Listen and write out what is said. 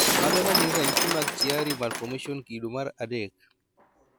Mage magin ranyisi mag Chiari malformation kido mar adek